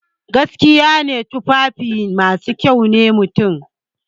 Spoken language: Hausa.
Gaskiya ne, tufafi masu kyau sune mutum.